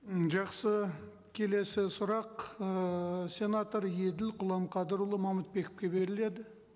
м жақсы келесі сұрақ ыыы сенатор еділ құламқадырұлы мамытбековке беріледі